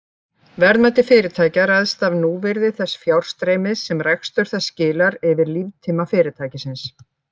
Verðmæti fyrirtækja ræðst af núvirði þess fjárstreymis sem rekstur þess skilar yfir líftíma fyrirtækisins.